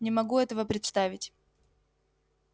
не могу этого представить